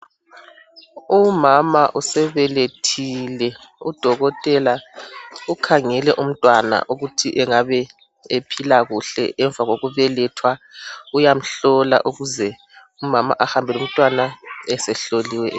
Umama usebelethile udokotela ukhangele umntwana ukuthi angabe ephila kuhle emva kokubelethwa uyamhlola ukuze umama ahambe lomntwana esehloliwe.